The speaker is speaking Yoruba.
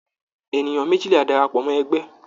Ènìyàn méjìlá darapọ̀ mọ́ ẹgbẹ́.